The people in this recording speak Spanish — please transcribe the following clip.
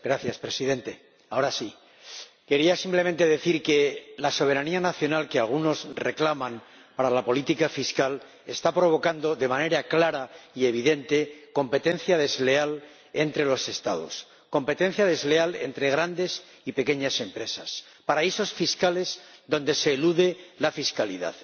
Señor Presidente, quería simplemente decir que la soberanía nacional, que algunos reclaman para la política fiscal, está provocando de manera clara y evidente competencia desleal entre los Estados, competencia desleal entre grandes y pequeñas empresas, paraísos fiscales donde se elude la fiscalidad.